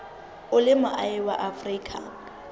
o le moahi wa afrika